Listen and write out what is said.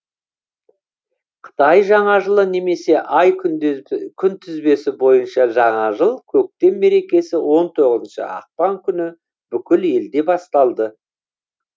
қытай жаңа жылы немесе ай күнтізбесі бойынша жаңа жыл көктем мерекесі он тоғызыншы ақпан күні бүкіл елде басталды